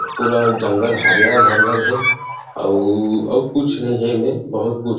पूरा जंगल हरियर भरियर हे अउ अउ कुछ नहीं हे एमे बहुत कुछ --